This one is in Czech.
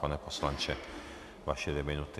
Pane poslanče, vaše dvě minuty.